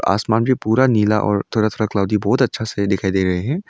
आसमान भी पूरा नीला और तरह तरह क्लाउडी बहोत अच्छा से दिखाई दे रहे है।